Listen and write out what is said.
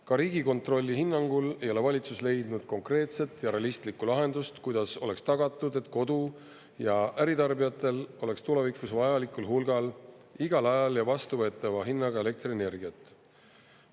Ka Riigikontrolli hinnangul ei ole valitsus leidnud konkreetset ja realistlikku lahendust, kuidas oleks tagatud, et kodu‑ ja äritarbijatel oleks tulevikus vajalikul hulgal igal ajal ja vastuvõetava hinnaga elektrienergiat.